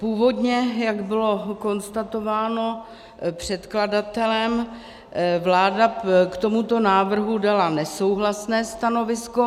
Původně, jak bylo konstatováno předkladatelem, vláda k tomuto návrhu dala nesouhlasné stanovisko.